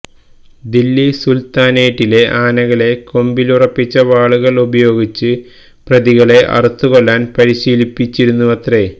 ദില്ലി സുൽത്താനേറ്റിലെ ആനകളെ കൊമ്പിലുറപ്പിച്ച വാളുകൾ ഉപയോഗിച്ച് പ്രതികളെ അറുത്തുകൊല്ലാൻ പരിശീലിപ്പിച്ചിരുന്നുവത്രേ